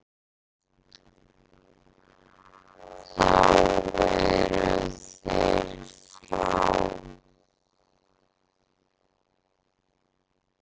Þá eru þeir frá.